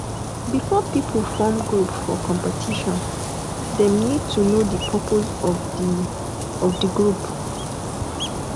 before pipo form group for competition dem need to know di purpose of di of di group